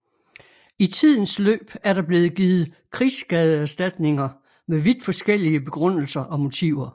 I tidens løb er der blevet givet krigsskadeerstatninger med vidt forskellige begrundelser og motiver